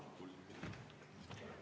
Palun kolm minutit juurde.